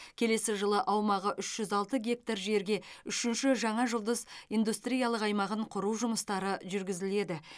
келесі жылы аумағы үш жүз алты гектар жерге үшінші жаңа жұлдыз индустриялық аймағын құру жұмыстары жүргізіледі